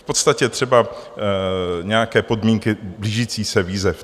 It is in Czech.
V podstatě třeba nějaké podmínky blížících se výzev.